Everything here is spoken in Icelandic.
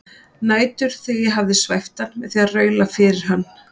Nætur þegar ég hafði svæft hann með því að raula fyrir hann